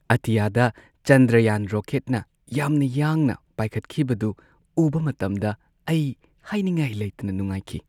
ꯑꯇꯤꯌꯥꯗ ꯆꯟꯗ꯭ꯔꯌꯥꯟ ꯔꯣꯀꯦꯠꯅ ꯌꯥꯝꯅ ꯌꯥꯡꯅ ꯄꯥꯏꯈꯠꯈꯤꯕꯗꯨ ꯎꯕ ꯃꯇꯝꯗ ꯑꯩ ꯍꯥꯏꯅꯤꯡꯉꯥꯏ ꯂꯩꯇꯅ ꯅꯨꯡꯉꯥꯏꯈꯤ ꯫